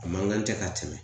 A man kan tɛ ka tɛmɛ